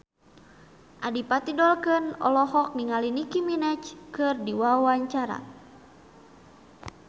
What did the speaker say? Adipati Dolken olohok ningali Nicky Minaj keur diwawancara